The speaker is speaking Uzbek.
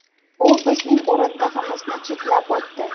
U bizning o‘rindig‘imizni chetlab o‘tdi.